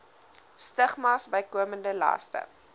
stigmas bykomende laste